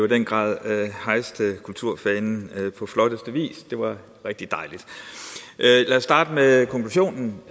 den grad hejste kulturfanen på flotteste vis det var rigtig dejligt lad os starte med konklusionen